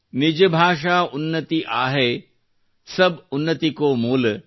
ನಿಜ ಭಾಷಾ ಉನ್ನತಿ ಅಹೈ ಸಬ್ ಉನ್ನತಿ ಕೊ ಮೂಲ